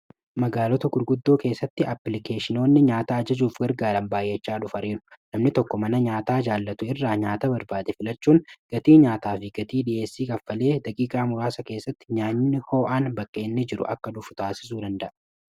magaalota gurguddoo keessatti applikeeshinoonni nyaata ajajuuf gargaran baay'echaa dhufariiru namni tokko mana nyaata jaallatu irraa nyaata barbaade filachuun gatii nyaataa fi gatii dhi'eessii kaffalee dagiiqaa muraasa keessatti nyaanni hoo'aan bakka inni jiru akka dhufu taasisuu danda'a